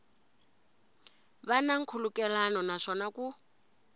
va na nkhulukelano naswona ku